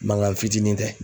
Mankan fitinin tɛ.